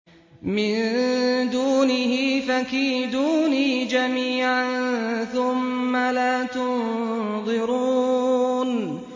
مِن دُونِهِ ۖ فَكِيدُونِي جَمِيعًا ثُمَّ لَا تُنظِرُونِ